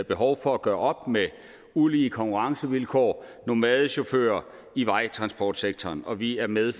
behov for at gøre op med ulige konkurrencevilkår nomadechauffører i vejtransportsektoren og vi er med